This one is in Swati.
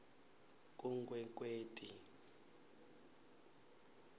kunkwekweti